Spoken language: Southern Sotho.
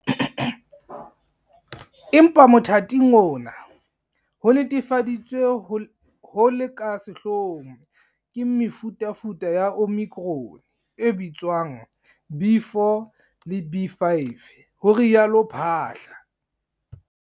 "Empa motha ting ona, ho netefaditsweng ho le ka sehloohong ke mefutafuta ya Omicron e bitswang B.4 le B.5," ho rialo Phaahla.